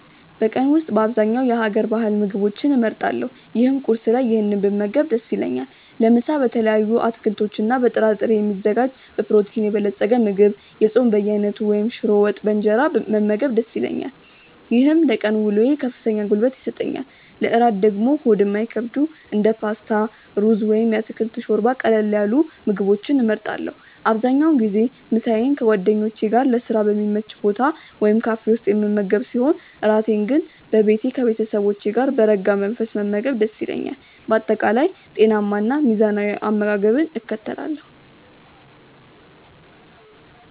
በቀን ውስጥ በአብዛኛው የሀገር ባህል ምግቦችን እመርጣለሁ ይህም ቁርስ ላይ ይህንን ብመገብ ደስ ይለኛል። ለምሳ በተለያዩ አትክልቶችና በጥራጥሬ የሚዘጋጅ በፕሮቲን የበለፀገ ምግብ፣ የጾም በየአይነቱ ወይም ሽሮ ወጥ በእንጀራ መመገብ ደስ ይለኛል። ይህም ለቀን ውሎዬ ከፍተኛ ጉልበት ይሰጠኛል። ለእራት ደግሞ ሆድ የማይከብዱ እንደ ፓስታ፣ ሩዝ ወይም የአትክልት ሾርባ ያሉ ቀለል ያሉ ምግቦችን እመርጣለሁ። አብዛኛውን ጊዜ ምሳዬን ከጓደኞቼ ጋር ለስራ በሚመች ቦታ ወይም ካፌ ውስጥ የምመገብ ሲሆን፣ እራቴን ግን በቤቴ ከቤተሰቦቼ ጋር በረጋ መንፈስ መመገብ ደስ ይለኛል። በአጠቃላይ ጤናማና ሚዛናዊ አመጋገብን እከተላለሁ።